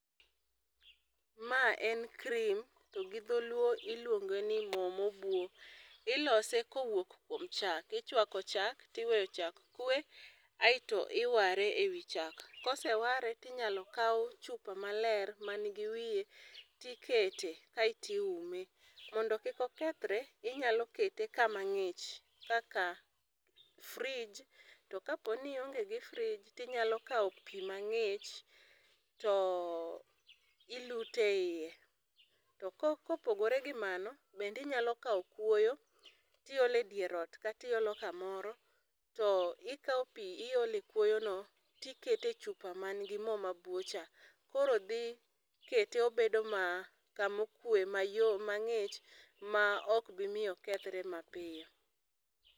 Ma en cream to gi dho luo iluonge ni mo ma obwo ilose ka owuok kuom chak. Ichwako chak to weyo chak kwe aito iware e wi chak. Koseware ti inyalo kaw chupa ma ler man gi wiyeti ikete aito iume, mondo kik okethre ikete ka ma ngich kaka frigdge to ka po ni ionge gi fridge inyalo kawo pi ma ngich to ilute e iye to ka opogore gi mano bende inyalo kawo kwoyo ti iole e dier ot kata iolo ka moro to ikawo pi iolo e kwoyo no ti ikete e chupa man gi mo ma bwo cha koro dhi kete obedo ma ka ma okwe ma ngich ma ok bi miyo okethre ma piyo.